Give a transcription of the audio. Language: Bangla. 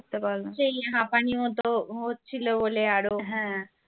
সেই হাপানি মত হচ্ছিল বলে আরো